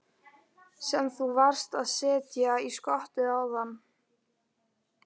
Sem þú varst að setja í skottið áðan?